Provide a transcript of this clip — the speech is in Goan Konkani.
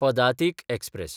पदातीक एक्सप्रॅस